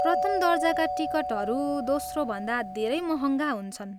प्रथम दर्जाका टिकटहरू दोस्रोभन्दा धेरै महङ्गा हुन्छन्।